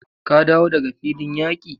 Ka dawo daga filin yaki?